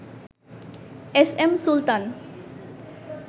S M Sultan